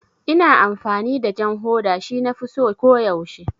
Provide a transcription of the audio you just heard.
Ina amfani da jan hoda, shi nafi so ko yaushe